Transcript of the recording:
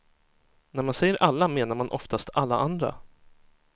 När man säger alla, menar man oftast alla andra.